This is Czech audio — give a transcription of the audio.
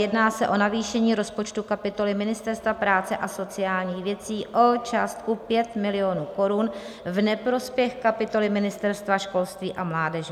Jedná se o navýšení rozpočtu kapitoly Ministerstva práce a sociálních věcí o částku 5 milionů korun v neprospěch kapitoly Ministerstva školství a mládeže.